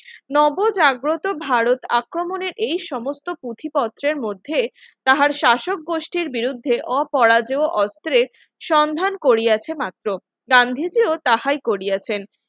নব জাগ্রত ভারত আক্রমণের এই সমস্ত পুঁথি পত্রের মধ্যে তাহার শাসকগোষ্ঠীর বিরুদ্ধে অপরাজ্য ও অস্ত্রের সন্ধান করিয়াছে মাত্র গান্ধীজি ও তাহাই করিয়াছেন